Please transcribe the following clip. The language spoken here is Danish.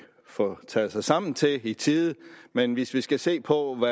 få taget sig sammen til i tide men hvis vi skal se på